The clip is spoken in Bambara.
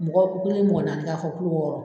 Mɔgɔ ko kelen mɔgɔ nanni ka fɔ wɔɔrɔ